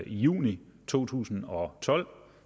juni to tusind og tolv